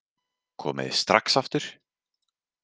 Komið þið strax aftur!